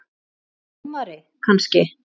Dómari kannski?